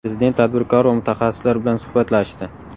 Prezident tadbirkor va mutaxassislar bilan suhbatlashdi.